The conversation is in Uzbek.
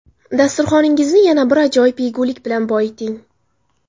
Dasturxoningizni yana bir ajoyib yegulik bilan boyiting.